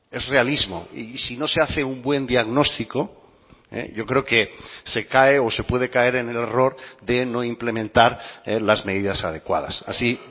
es realismo y si no se hace un buen diagnóstico yo creo que se cae o se puede caer en el error de no implementar las medidas adecuadas así